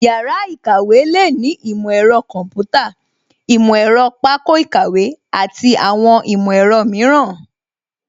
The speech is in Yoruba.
Yàrá ìkàwé lè ní ìmọ̀ ẹ̀rọ kọ̀ḿpútà, ìmọ̀ ẹ̀rọ pákó ìkàwé àti àwọn ìmọ̀ ẹ̀rọ mìíràn